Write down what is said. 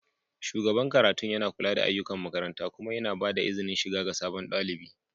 shugaban karatun yana kula da ayyukan makaranta kuma yana ba da izinin shiga ga sabon ɗalibi